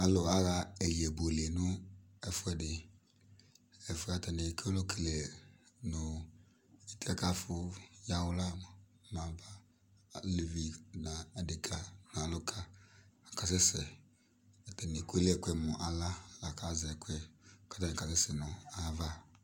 Alʋ aɣa ɛyɛbuele nʋ ɛfuɛdi Ɛfuɛ atani akɔlɔ kele nʋ afʋ kɛyawla moa mɛ aba Alevi nʋ adeka nʋ alʋka akasɛsɛ Atani ekele ɛkuɛ mʋ aɣla la kʋ azɛ ɛkuɛ la kʋ atani kasɛsɛ nʋ ayava